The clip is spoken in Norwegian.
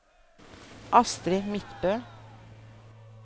Astrid Midtbø